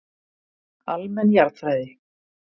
Almenn jarðfræði.